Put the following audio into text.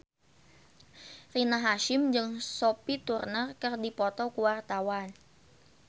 Rina Hasyim jeung Sophie Turner keur dipoto ku wartawan